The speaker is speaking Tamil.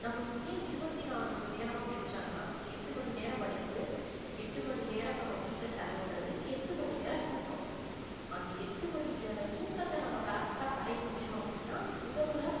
நம்மளுக்கு ஏன் இருவத்தி நாலு மணி நேரமா பிரிச்சாங்கன்னா எட்டு மணி நேர படிப்பு, எட்டு மணி நேரம் நம்ம வீட்டுல செலவிடுறது, எட்டு மணி நேரம் தூக்கம் அந்த எட்டு மணி நேர தூக்கத்தை நம்ம correct ஆ கடைபிடிச்சோம் அப்படின்னா உடம்புல